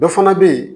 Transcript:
Dɔ fana bɛ yen